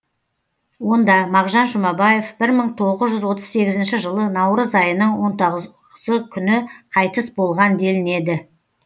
онда мағжан жұмабаев бір мың тоғыз жүз отыз сегізінші жылы наурыз айының он тоғ ысы күні қайтыс болған делінеді